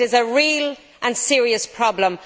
It is a real and serious problem.